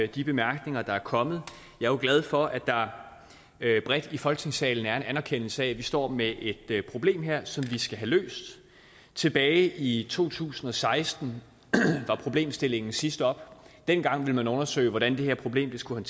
de bemærkninger der er kommet jeg er glad for at der bredt i folketingssalen er en anerkendelse af at vi står med et problem her som vi skal have løst tilbage i to tusind og seksten var problemstillingen sidst oppe og dengang ville man undersøge hvordan det her problem skulle